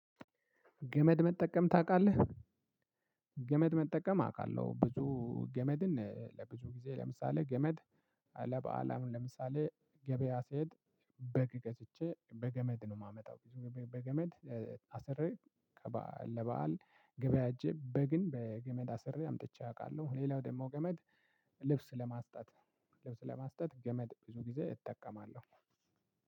ገመድ መጠቀም ታውቃለህ? ገመድ መጠቀም አውቃለሁ ብዙ ገመድን ለብዙ ጊዜ ለምሳሌ ገመድ ለበአል አሁን ለምሳሌ ገበያ ሲሄድ በግ ገዝቼ በገመድ ነው የማመጣው። በገመድ አሰርሬ ለበአል ገበያ ሂጀ በግን በገመድ አሰሬ አምጥቸ አውቃለሁ። ሌላው ደግሞ ገመድ ልብስ ለማስጣት ልብስ ለማስጣት ገመድ ብዙ ጊዜ እጠቀማለሁ።